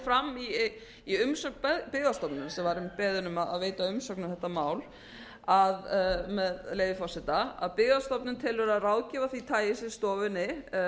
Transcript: fram í umsögn byggðastofnunar sem var einmitt beðin um að veita umsögn um þetta mál með leyfi forseta byggðastofnun telur að ráðgjöf af því tagi sem stofunni